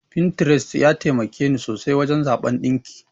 Pinterest ya taimakeni sosai wajen zaɓan ɗinki.